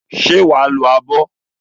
Ṣé wà á lo abọ́?